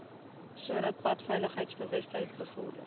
sodat padveiligheidsbewustheid bevorder